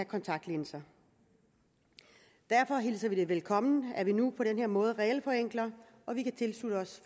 kontaktlinser derfor hilser vi det velkommen at vi nu på den her måde regelforenkler og vi kan tilslutte os